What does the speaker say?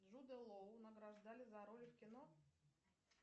джуда лоу награждали за роли в кино